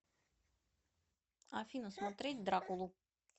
афина смотреть дракулу